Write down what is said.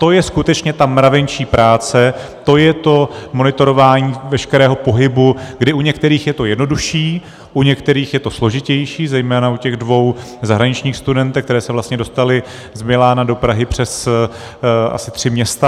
To je skutečně ta mravenčí práce, to je to monitorování veškerého pohybu, kdy u některých je to jednodušší, u některých je to složitější, zejména u těch dvou zahraničních studentek, které se vlastně dostaly z Milána do Prahy přes asi tři města.